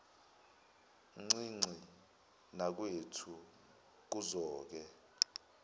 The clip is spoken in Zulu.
ncinci nakwethu kuzoke